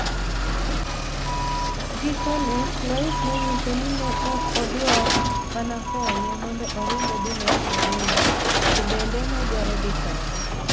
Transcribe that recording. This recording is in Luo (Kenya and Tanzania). Gikoni e, Lois noniyise nii ni e ok odwar mania koniye monido orinig odhi north Korea, to benide nodwaro dhi kode.